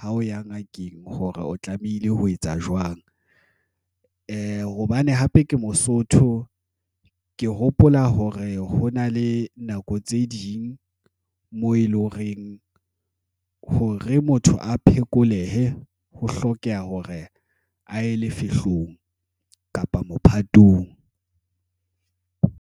Ha o ya ngakeng hore o tlamehile ho etsa jwang hobane hape ke Mosotho. Ke hopola hore ho na le nako tse ding moo e leng horeng hore motho a phekolehe, ho hlokeha hore a ye lefehlong kapa mophatong.